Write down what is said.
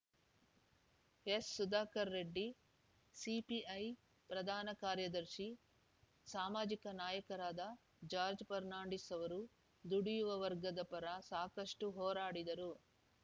S Sudhakar Reddy CPI ಪ್ರಧಾನ ಕಾರ್ಯದರ್ಶಿ ಸಾಮಾಜಿಕ ನಾಯಕರಾದ ಜಾರ್ಚ್ ಫರ್ನಾಂಡಿಸ್‌ ಅವರು ದುಡಿಯುವ ವರ್ಗದ ಪರ ಸಾಕಷ್ಟುಹೋರಾಡಿದರು